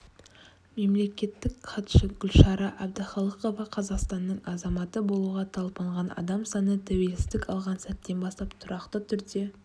мемлекеттік хатшы гүлшара әбдіқалықова қазақстанның азаматы болуға талпынған адам саны тәуелсіздік алған сәттен бастап тұрақты түрде